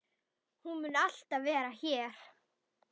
Hún mun alltaf vera hér.